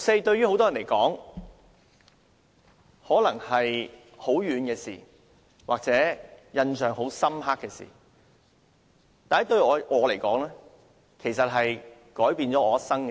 對於很多人來說，六四可能是很遙遠或印象很深刻的事，但對我來說，這是改變我一生的事。